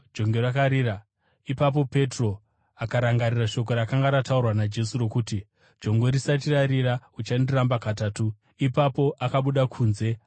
Ipapo Petro akarangarira shoko rakanga rataurwa naJesu rokuti: “Jongwe risati rarira uchandiramba katatu.” Ipapo akabuda kunze akandochema zvikuru.